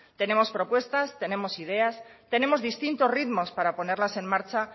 tenemos propuestas tenemos ideas tenemos distintos ritmos para ponerlas en marcha